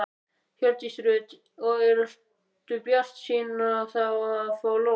Hjördís Rut: Og ertu bjartsýnn á það að fá lóð?